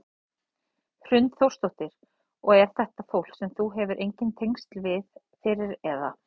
Hrund Þórsdóttir: Og er þetta fólk sem þú hefur engin tengsl við fyrir eða?